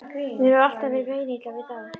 Mér hefur alltaf verið meinilla við þá.